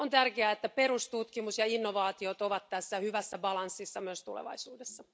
On tärkeää, että perustutkimus ja innovaatio ovat tässä hyvässä tasapainossa myös tulevaisuudessa.